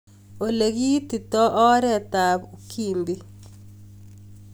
Ole kiitito oret ab Ukimbi